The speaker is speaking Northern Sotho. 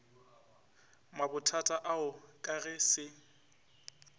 mabothata ao ka ge se